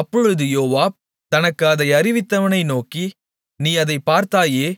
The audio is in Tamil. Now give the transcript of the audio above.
அப்பொழுது யோவாப் தனக்கு அதை அறிவித்தவனை நோக்கி நீ அதைப் பார்த்தாயே